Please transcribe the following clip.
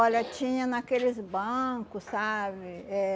tinha naqueles banco, sabe? Eh